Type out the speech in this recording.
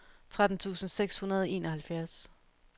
tretten tusind seks hundrede og enoghalvfjerds